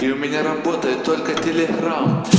и у меня работает только